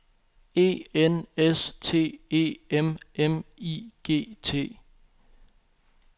E N S T E M M I G T